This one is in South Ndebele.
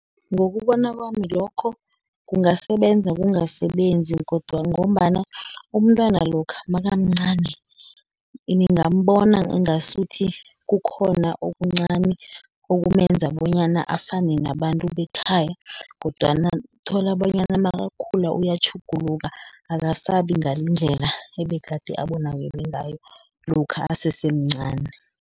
Ngokubona kwami lokho, kungasebenza, kungasebenzi, ngombana umntwana lokha nakamncani, ningabona ingasuthi kukhona okuncani, okumenza bonyana afane nabantu bekhaya, kodwana uthola bonyana nakakhula uyatjhuguluka, akasabi ngalendlela ebegade abonakele ngayo lokha asesemncani.